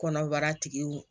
Kɔnɔbara tigiw